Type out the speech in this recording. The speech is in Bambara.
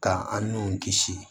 K'an n'u kisi